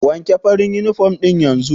Wanke farin uniform ɗin yanzu!